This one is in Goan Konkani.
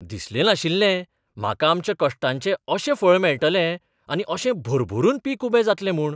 दिसलें नाशिल्लें म्हाका आमच्या कश्टाचें अशें फळ मेळटलें आनी अशें भरभरून पीक उबें जातलें म्हूण.